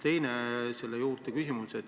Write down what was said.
Teine küsimus selle juurde.